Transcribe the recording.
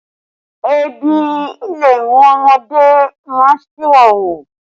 Ebi le mú ọmọdé má a ṣi ìwà hù